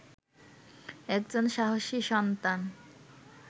একজন সাহসী সন্তান